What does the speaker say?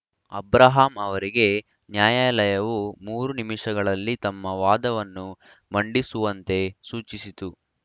Abraham ಅವರಿಗೆ ನ್ಯಾಯಾಲಯವು ಮೂರು ನಿಮಿಷಗಳಲ್ಲಿ ತಮ್ಮ ವಾದವನ್ನು ಮಂಡಿಸುವಂತೆ ಸೂಚಿಸಿತು